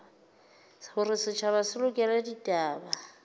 hore setjhaba se lekole ditaba